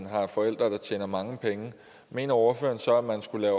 har forældre der tjener mange penge mener ordføreren så at der skulle